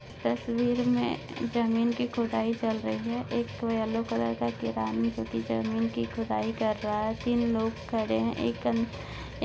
तस्वीर में जमीन की खुदाई चल रही है एक येल्लो कलर का क्रेन जो की जमीन की खुदाई कर रहा है। तीन लोग खड़े हैं एक अ --